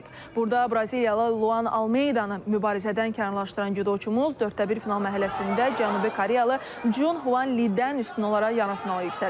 Burda Braziliyalı Luan Almenidanı mübarizədən kənarlaşdıran doçumuz dörddə bir final mərhələsində Cənubi Koreyalı Cun Huan Lidən üstün olaraq yarımfinala yüksəlib.